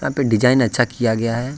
पे डिजाइन अच्छा किया गया है।